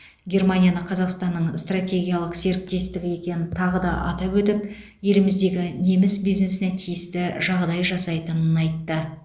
германияны қазақстанның стратегиялық серіктесі екенін тағы да атап өтіп еліміздегі неміс бизнесіне тиісті жағдай жасайтынын айтты